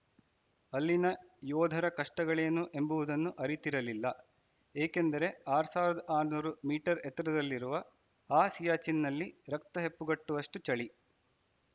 ಅಲ್ಲಿನ ಯೋಧರ ಕಷ್ಟಗಳೇನು ಎಂಬುದನ್ನು ಅರಿತಿರಲಿಲ್ಲ ಏಕೆಂದರೆ ಆರ್ ಸಾವಿರದ ಆರನೂರು ಮೀಟರ್‌ ಎತ್ತರದಲ್ಲಿರುವ ಆ ಸಿಯಾಚಿನ್‌ನಲ್ಲಿ ರಕ್ತ ಹೆಪ್ಪುಗಟ್ಟುವಷ್ಟುಚಳಿ